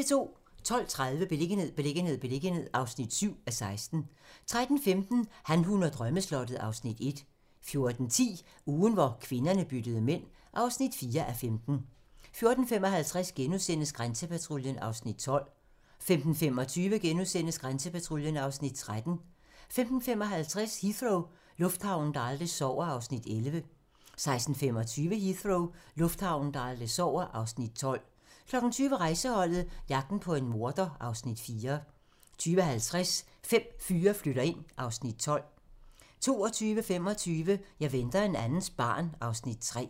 12:30: Beliggenhed, beliggenhed, beliggenhed (7:16) 13:15: Han, hun og drømmeslottet (Afs. 1) 14:10: Ugen hvor kvinderne byttede mænd (4:15) 14:55: Grænsepatruljen (Afs. 12)* 15:25: Grænsepatruljen (Afs. 13)* 15:55: Heathrow - lufthavnen, der aldrig sover (Afs. 11) 16:25: Heathrow - lufthavnen, der aldrig sover (Afs. 12) 20:00: Rejseholdet - jagten på en morder (Afs. 4) 20:50: Fem fyre flytter ind (Afs. 12) 22:25: Jeg venter en andens barn (Afs. 3)